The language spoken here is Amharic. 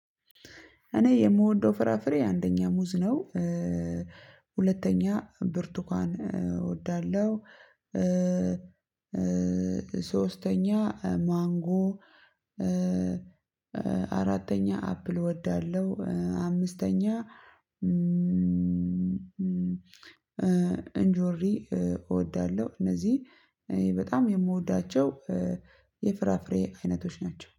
እኔ የምወደው ፍራፍሬ አንደኛ ሙዝ ነው። ሁለተኛ ቡርቱካን እወዳለሁ። ሶስተኛ ማንጎ። አራተኛ አፕል እወዳለሁ። አምስተኛ ኤንጆሪ እወዳለሁ እነዚህን በጣም የምወዳቸው የፍራፍሬ አይነቶች ናቸው